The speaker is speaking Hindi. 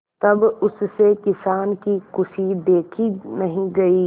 तब उससे किसान की खुशी देखी नहीं गई